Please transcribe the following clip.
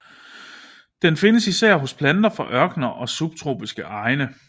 Den findes især hos planter fra ørkener og subtropiske egne